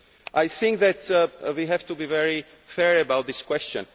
Tax. I think that we have to be very fair about this